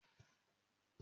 Mo ma wá gba irin olùwárí.